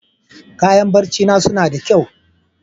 Kayan barcina suna da kyau.